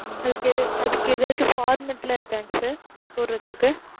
அதுக்கு எது அதுக்கு எதாச்சும் format லா இருக்கா sir போடுறதுக்கு?